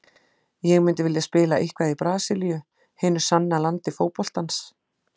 Ég myndi vilja spila eitthvað í Brasilíu, hinu sanna landi fótboltans.